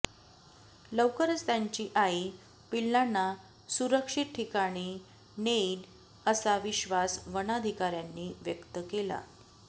लवकरच त्यांची आई पिल्लांना सुरक्षित ठिकाणी नेईन असा विश्वास वनाधिकार्यांनी व्यक्त केला